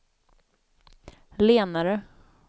lenare